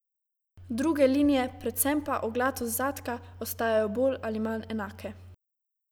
Druge linije, predvsem pa oglatost zadka, ostajajo bolj ali manj enake.